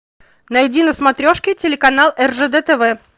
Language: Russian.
найди на смотрешке телеканал ржд тв